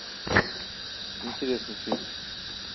интересный фильм